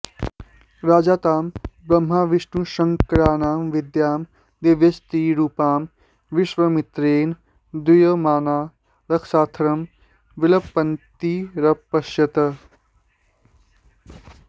राजा तां ब्रह्मविष्णुशङ्कराणां विद्यां दिव्यस्त्रीरूपां विश्वामित्रेण दूयमाना रक्षार्थं विलपन्तीरपश्यत्